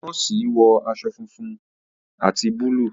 nọọsi wọ aṣọ fúnfún ati Búlúù.